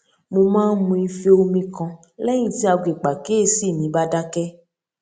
mo máa ń mu ife omi kan léyìn tí aago ìpàkíyèsí mi bá dákẹ